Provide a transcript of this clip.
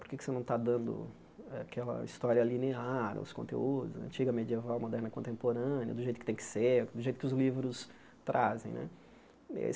Por que você não está dando aquela história linear, os conteúdos, antiga, medieval, moderna contemporânea, do jeito que tem que ser, do jeito que os livros trazem né?